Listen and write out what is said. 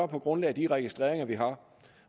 på grundlag af de registreringer vi har